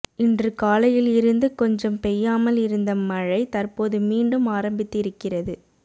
இன்று காலையில் இருந்து கொஞ்சம் பெய்யாமல் இருந்த மழை தற்போது மீண்டும் ஆரம்பித்து இருக்கிறது